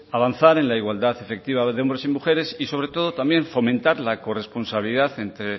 avanzar en la igualdad efectiva de hombres y mujeres y sobre todo también fomentar la corresponsabilidad entre